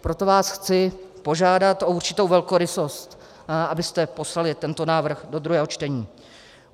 Proto vás chci požádat o určitou velkorysost, abyste poslali tento návrh do druhého čtení.